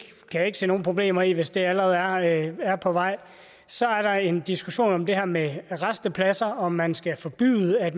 kan jeg ikke se nogen problemer i hvis det allerede er på vej så er der en diskussion om det her med rastepladser altså om man skal forbyde at